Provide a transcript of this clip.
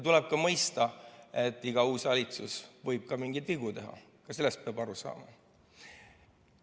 Tuleb mõista, et iga uus valitsus võib ka mingeid vigu teha, sellest peab aru saama.